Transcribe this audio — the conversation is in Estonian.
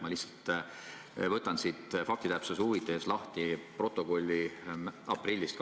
Ma võtan faktitäpsuse huvides lahti komisjoni protokolli 23. aprillist.